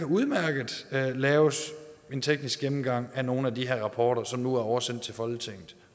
udmærket kan laves en teknisk gennemgang af nogle af de her rapporter som nu er oversendt til folketinget